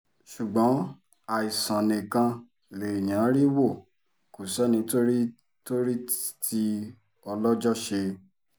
ṣùgbọ́n àìsàn nìkan lèèyàn rí wò kò sẹ́ni tó rí tó rí tí ọlọ́jọ́ ṣe